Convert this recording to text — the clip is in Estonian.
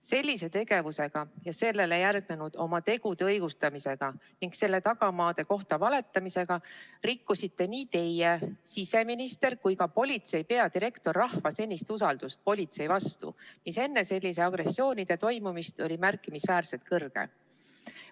Sellise tegevusega ja sellele järgnenud oma tegude õigustamisega ning nende tagamaade kohta valetamisega rikkusite nii teie, siseminister kui ka politsei peadirektor rahva usaldust politsei vastu, mis enne selliste agressioonide toimumist oli märkimisväärselt suur.